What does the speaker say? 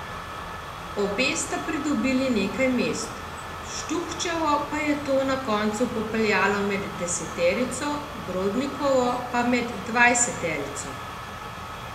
Obe sta pridobili nekaj mest, Štuhčevo pa je to na koncu popeljalo med deseterico, Brodnikovo pa med dvajseterico.